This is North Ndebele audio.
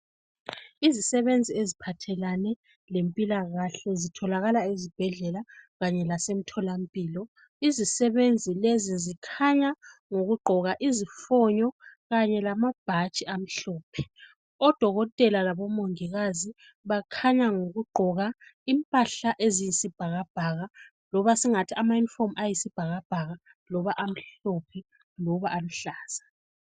Izisebenzi eziphathelane lempilakahle zitholakala ezibhedlela kanye lasemtholampilo. Izisebenzi lezi zikhanya ngokugqoka izifonyo kanye lamabhatshi amhlophe. Odokotela labo mongikazi bakhanya ngokugqoka impahla eziyisibhakabhaka loba singathi ama uniform ayisibhakabhaka loba amhlophe loba aluhlaza.